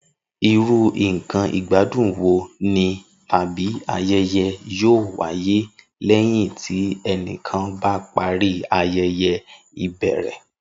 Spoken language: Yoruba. Irú nǹkan ìgbádùn wo ni tàbí ayẹyẹ yóò wáyé lẹ́yìn tí ẹnìkan bá parí ayẹyẹ ìbẹ̀rẹ̀?